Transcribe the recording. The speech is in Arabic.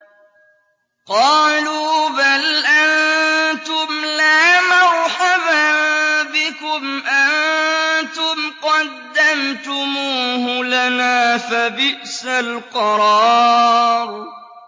قَالُوا بَلْ أَنتُمْ لَا مَرْحَبًا بِكُمْ ۖ أَنتُمْ قَدَّمْتُمُوهُ لَنَا ۖ فَبِئْسَ الْقَرَارُ